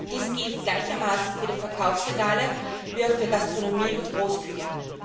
Dies gilt gleichermaßen für die Verkaufsregale wie auch für die Gastronomie und Großküchen.